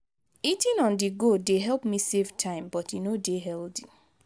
eating on-the-go dey help me save time but e no dey healthy.